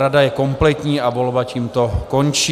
Rada je kompletní, a volba tímto končí.